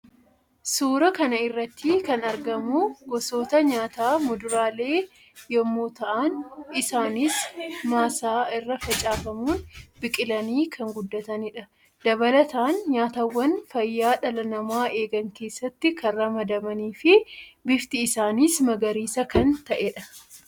Suuraa kana irratti kan argamu gosoota nyaataa muduraalee yammuu ta'an; isaannis maasaa irra facaafamuun biqilanii kan guddatanii dha. Dabalataan nyaatawwan fayyaa dhala namaa eegan keessatti kan ramadamanii fi bifti isaaniis magariisa kan ta'ee dha.